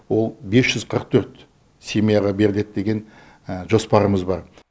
ол бес жүз қырық төрт семьяға беріледі деген жоспарымыз бар